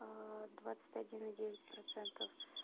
двадцать один и девять процентов